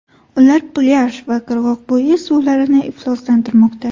Ular plyaj va qirg‘oqbo‘yi suvlarini ifloslantirmoqda.